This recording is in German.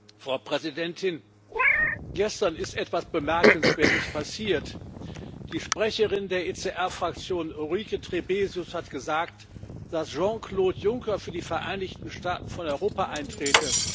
Frau Präsidentin! Gestern ist etwas Bemerkenswertes passiert Die Sprecherin der ECR Fraktion, Ulrike Trebesius, hat gesagt, dass Jean Claude Juncker für die Vereinigten Staaten von Europa eintrete.